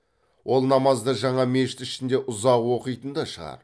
ол намазды жаңа мешіт ішінде ұзақ оқитын да шығар